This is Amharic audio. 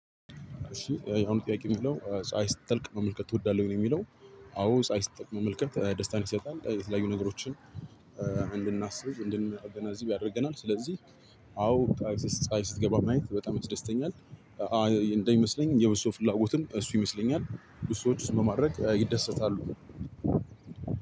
እሺ ያሁኑ ጥያቄ የሚለው: ፀሀይ ስትጠልቅ መመልከት ትወዳለህ ወይ? ነውየሚለው። አዎ ፀሀይ ስጠልቅ መመልከት ደስታን ይሰጣል የተለያዩ ነገሮችን እንድናስብ እንድናገናዝብ ያደርገናል ስለዚህ አዎ ፀሀይ ስትገባ ማየት በጣም ያስደስተኛል እንደሚመስለኝ የብዙ ሰው ፍላጎትም እሱ ይመስለኛል ብዙ ሰዎች እሱን በማድረግ ይደሰታሉ